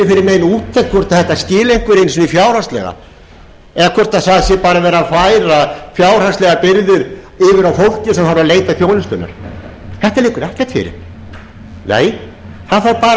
nein úttekt hvort þetta skili einhverju einu sinni fjárhagslega eða hvort það sé bara verið að færa fjárhagslegar byrðar yfir fólkið sem þarf að leita þjónustunnar þetta liggur ekkert fyrir nei það þarf bara að einkavæða og hræra